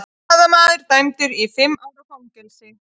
Blaðamaður dæmdur í fimm ára fangelsi